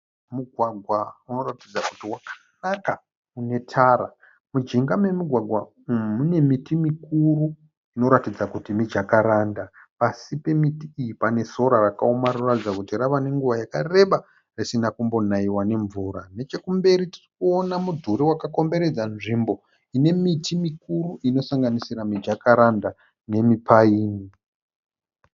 Mugwagwa unoratidza kuti wakanaka unetara. Mujinja memugwagwa umu munemiti mikuru inoratidza kuti mijakaranda. Pasi pemiti iyi panesora rakaoma rinoratidza kuti yave nenguva yakareba risina kumbonaiwa nemvura. Nechekumberi tirikuona mudhuri wakakomberedza nzvimbo inemiti mikuru inosanganisira mijakaranda nemipaini.